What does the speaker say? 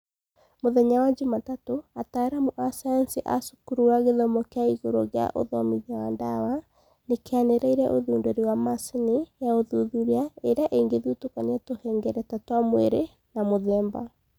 Mũthenya wa Juma tatũ, ataaramu a sayansi a Cukuru wa gĩthomo kĩa igũrũ gĩa ũthomithia wa dawa nĩkĩanĩrĩire ũthundũri wa machini ya ũthuthuria ĩrĩa ĩngĩthutũkania tũhengereta twa mwĩrĩ na mũthemba